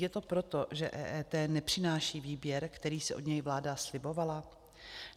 Je to proto, že EET nepřináší výběr, který si od něj vláda slibovala?